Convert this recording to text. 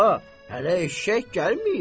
Bala, hələ eşşək gəlməyib.